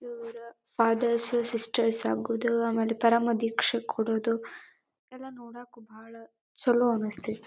ಇವ್ರ fathers sisters ಆಗೋದ ಆಮೇಲೆ ಪರಮದೀಕ್ಷೆ ಕೊಡದು ಇದೆಲ್ಲ ನೋಡಕ ಬಾಲ ಚಲೋ ಅನಸ್ತೈತಿ.